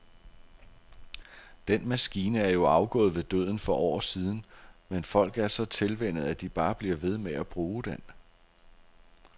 Den maskine er jo afgået ved døden for år siden, men folk er så tilvænnet, at de bare bliver ved med at bruge den.